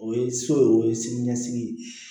O ye so ye o ye sini ɲɛsigi ye